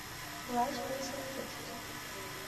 влажные салфетки